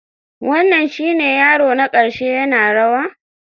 Wannan shine yaro na ƙarshe yana rawa?